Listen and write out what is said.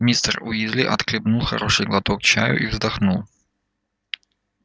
мистер уизли отхлебнул хороший глоток чаю и вздохнул